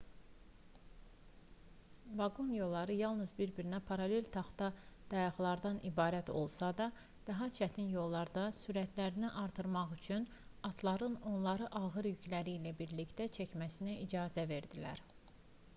vaqon yolları yalnız bir-birinə paralel taxta dayaqlardan ibarət olsa da daha çətin yollarda sürətlərini artırmaq üçün atların onları ağır yükləri ilə birlikdə çəkməsinə icazə verdilər